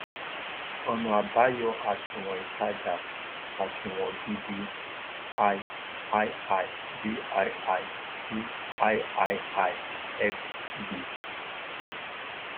ọnà àbáyọ àsunwon ìtajà àsunwon gidi i ii vii viii xv